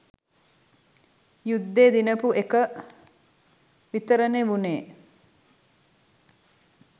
යුද්දෙ දිනපු එක විතරනෙ වුනේ.